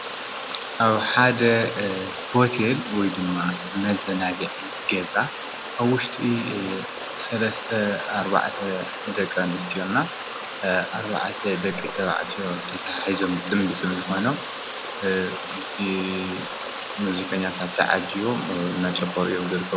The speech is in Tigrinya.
ኣብ ሓደ ሆቴል ወይ ድማ መዘናግዒ ገዛ ኣብ ውሽጢ ሰለስተ ኣርባዕተ ደቂ ኣነስትዮ ና 4ተ ደቂ ተባዕትዮ ተታሓሒዞም ፅምዲ ፅምዲ ኮይኖም ብሙዚቀኛታት ተዓጂበሞም እንዳጨፈሩ እዮም ዝርከቡ።